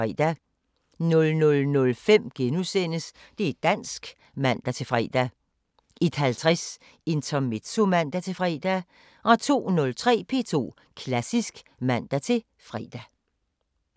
00:05: Det´ dansk *(man-fre) 01:50: Intermezzo (man-fre) 02:03: P2 Klassisk (man-fre)